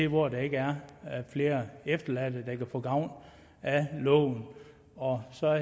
hvor der ikke er flere efterladte der kan få gavn af loven og så er